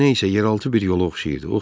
Bu nə isə yeraltı bir yola oxşayırdı.